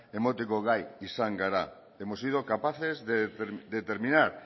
emateko gai izan gara hemos sido capaces de terminar